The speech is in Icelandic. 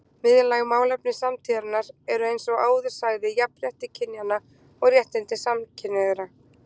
Miðlæg málefni samtíðarinnar eru eins og áður sagði jafnrétti kynjanna og réttindi samkynhneigðra.